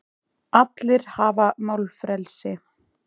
Allir hafa málfrelsi.